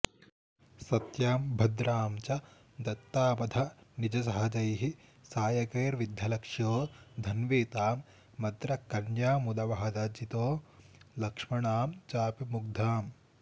सत्यां भद्रां च दत्तामथ निजसहजैः सायकैर्विद्धलक्ष्यो धन्वी तां मद्रकन्यामुदवहदजितो लक्ष्मणां चापि मुग्धाम्